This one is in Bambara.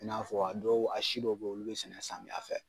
I n'a fɔ a dɔw a si dɔ bɛ ye olu bɛ sɛnɛ samiya fɛ.